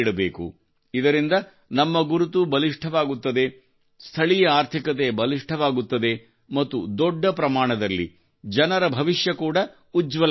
ಇದರಿಂದ ನಮ್ಮ ಗುರುತು ಬಲಿಷ್ಠವಾಗುತ್ತದೆ ಸ್ಥಳೀಯ ಆರ್ಥಿಕತೆ ಬಲಿಷ್ಠವಾಗುತ್ತದೆ ಮತ್ತು ದೊಡ್ಡ ಪ್ರಮಾಣದಲ್ಲಿ ಜನರ ಭವಿಷ್ಯ ಕೂಡಾ ಉಜ್ವಲವಾಗುತ್ತದೆ